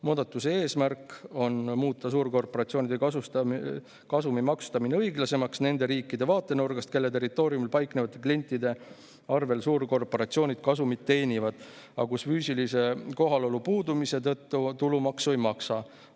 Muudatuse eesmärk on muuta suurkorporatsioonide kasumi maksustamine õiglasemaks nende riikide vaatenurgast, kelle territooriumil paiknevate klientide arvel suurkorporatsioonid kasumit teenivad, aga kus nad füüsilise kohalolu puudumise tõttu tulumaksu ei maksa.